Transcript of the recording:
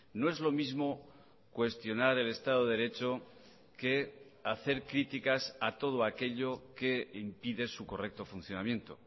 no es lo mismo cuestionar el estado de derecho que hacer críticas a todo aquello que impide su correcto funcionamiento